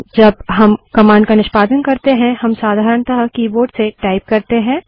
जब हम कमांड का निष्पादन करते हैं हम साधारणतः कीबोर्ड से टाइप करते हैं